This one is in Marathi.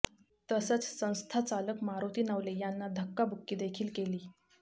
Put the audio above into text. तसंच संस्थाचालक मारुती नवले यांना धक्काबुक्की देखील केली